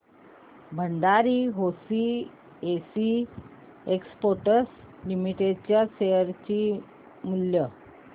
Bhandari hosiery exports limited च्या share चे मूल्य